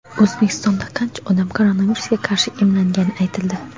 O‘zbekistonda qancha odam koronavirusga qarshi emlangani aytildi.